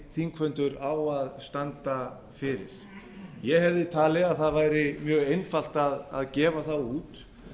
þingfundur á að standa yfir ég hefði talið að það væri mjög einfalt að gefa það út